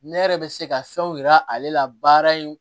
Ne yɛrɛ bɛ se ka fɛnw yira ale la baara in